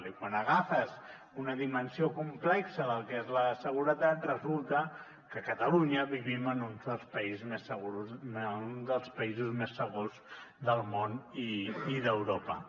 i quan agafes una dimensió complexa del que és la seguretat resulta que a catalunya vivim en uns dels països més segurs del món i d’europa